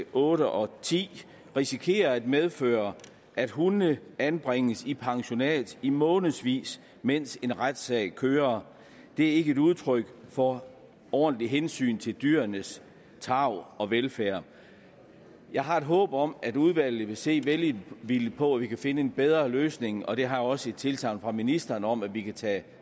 otte og ti risikerer at medføre at hunde anbringes i pensionat i månedsvis mens en retssag kører det er ikke et udtryk for ordentligt hensyn til dyrenes tarv og velfærd jeg har et håb om at udvalget vil se velvilligt på at vi kan finde en bedre løsning og jeg har også tilsagn fra ministeren om at vi kan tage